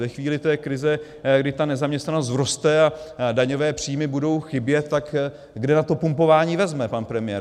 Ve chvíli té krize, kdy ta nezaměstnanost vzroste a daňové příjmy budou chybět, tak kde na to pumpování vezme pan premiér.